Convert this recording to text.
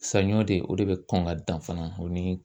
Saɲɔ de o de bɛ kɔn ka dan fana o ni